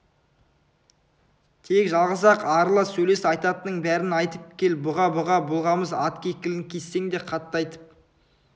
тек жалғыз-ақ арыла сөйлес айтатынның бәрін айтып кел бұға-бұға болғамыз ат кекілін кессең де қатты айтып